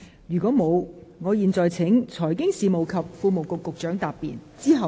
如果沒有，我現在請財經事務及庫務局局長答辯。